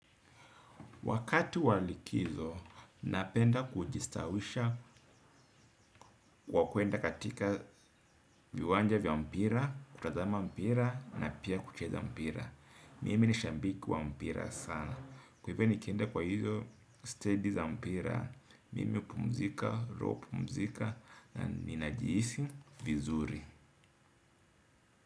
Wakati wa likizo, napenda kujistawisha kwa kuenda katika viwanja vya mpira, kutazama mpira na pia kucheza mpira. Mimi ni shambiki wa mpira sana. Wewe ni kienda kwa hizo steady za mpira. Mimi upumzika, roho kumzika na ninajiisi vizuri.